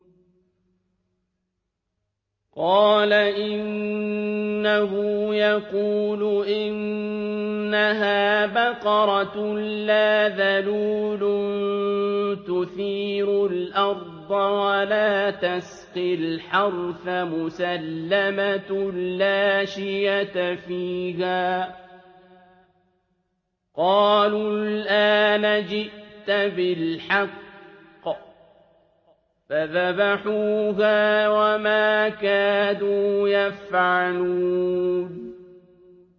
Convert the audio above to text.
قَالَ إِنَّهُ يَقُولُ إِنَّهَا بَقَرَةٌ لَّا ذَلُولٌ تُثِيرُ الْأَرْضَ وَلَا تَسْقِي الْحَرْثَ مُسَلَّمَةٌ لَّا شِيَةَ فِيهَا ۚ قَالُوا الْآنَ جِئْتَ بِالْحَقِّ ۚ فَذَبَحُوهَا وَمَا كَادُوا يَفْعَلُونَ